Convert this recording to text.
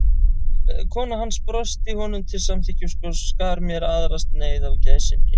Kona hans brosti honum til samþykkis og skar mér aðra sneið af gæsinni.